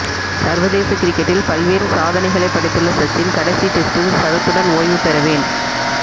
சர்வதேச கிரிக்கெட்டில் பல்வேறு சாத னைகளை படைத்துள்ள சச்சின் கடைசி டெஸ்டில் சதத்துடன் ஓய்வு பெற வேண்